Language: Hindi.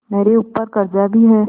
मेरे ऊपर कर्जा भी है